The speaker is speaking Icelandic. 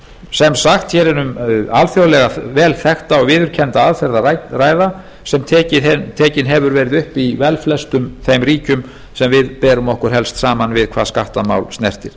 sem sagt hér er um alþjóðlega velþekkta og viðurkennda aðferð að ræða sem tekin hefur veita upp í velflestum þeim ríkjum sem við berum okkur helst saman við hvað skattamál snertir